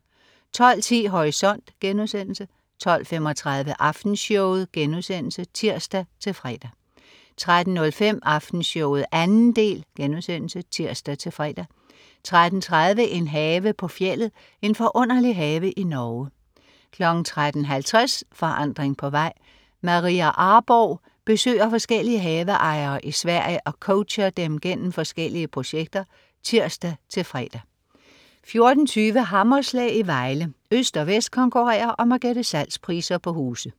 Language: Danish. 12.10 Horisont* 12.35 Aftenshowet* (tirs-fre) 13.05 Aftenshowet 2. del* (tirs-fre) 13.30 En have på fjeldet. En forunderlig have i Norge 13.50 Forandring på vej. Maria Arborgh besøger forskellige haveejere i Sverige og coacher dem gennem forskellige projekter (tirs-fre) 14.20 Hammerslag i Vejle. Øst og vest konkurrerer om at gætte salgspriser på huse